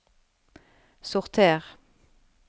sorter